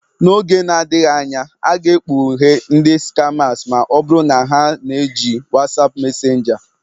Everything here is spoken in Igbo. N'oge na-adịghị anya, a ga-ekpughe ndị skamas ma ọ bụrụ na ha na-eji WhatsApp Mesenjaa.